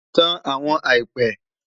Tan awọn àìpẹ